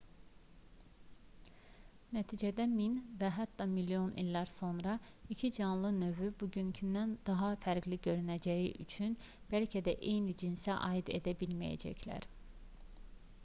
nəticədə min və hətta milyon illər sonra 2 canlı növü bugünkündən daha fərqli görünəcəyi üçün bəlkə də eyni cinsə aid edilə bilməyəcəklər